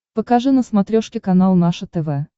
покажи на смотрешке канал наше тв